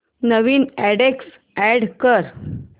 नवीन address add कर